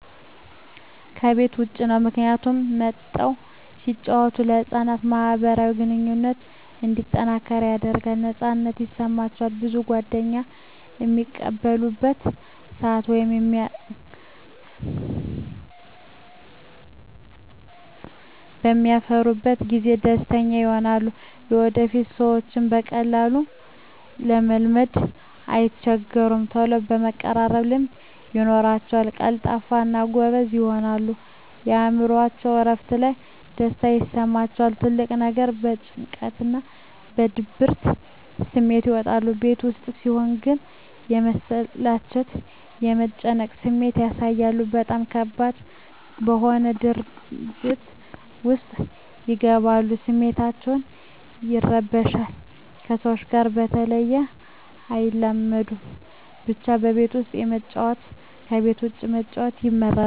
ከቤት ዉጭ ነዉ ምክንያቱም ወጠዉ ሲጫወቱ ለህፃናት ማህበራዊ ግንኙነቶች እንዲጠናከር ያደርጋል ነፃነት ይሰማቸዋል ብዙ ጓደኛም በሚቀርቡበት ሰአት ወይም በሚያፈሩበት ጊዜ ደስተኛ ይሆናሉ ለወደፊቱ ሰዎችን በቀላሉ ለመልመድ አይቸገሩም ተሎ የመቀራረብ ልምድ ይኖራቸዉል ቀልጣፋ እና ጎበዝም ይሆናሉ የእምሮአቸዉ እረፍት እና ደስታ ይሰማቸዋል ትልቁ ነገር ከጭንቀትና ከድብርት ስሜት ይወጣሉ ቤት ዉስጥ ሲሆን ግን የመሰላቸት የመጨነቅ ስሜት ያሳያሉ በጣም ከባድ በሆነ ድብርት ዉስጥ ይገባሉ ስሜታቸዉ ይረበሻል ከሰዎች ጋር በተሎ አይላመዱም ብቻ ከቤት ዉስጥ ከመጫወት ከቤት ዉጭ መጫወት ይመረጣል